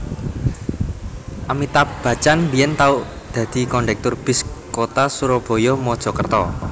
Amitabh Bachchan biyen tau dadi kondektur bis kota Surabaya Mojokerto